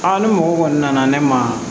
ni mɔgɔ kɔni nana ne ma